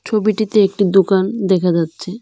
ছবিটিতে একটি দুকান দেখা যাচ্ছে।